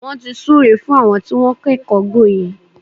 Wọ́n ti súre fún àwọn tí wọ́n kẹ́kọ̀ọ́ gboyè.